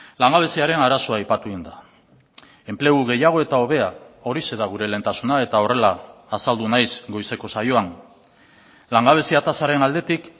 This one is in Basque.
langabeziaren arazoa aipatu egin da enplegu gehiago eta hobea horixe da gure lehentasuna eta horrela azaldu naiz goizeko saioan langabezia tasaren aldetik